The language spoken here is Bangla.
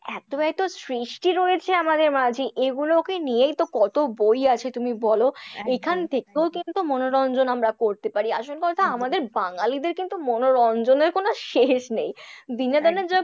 এতো এতো সৃষ্টি রয়েছে আমাদের মাঝে এগুলোকে নিয়েই তো কত বই আছে তুমি বলো, এখান থেকেও কিন্তু মনোরঞ্জন আমরা করতে পারি। আসল কথা আমাদের বাঙালিদের কিন্তু মনোরঞ্জনের কোন শেষ নেই। বিনোদনের জগত,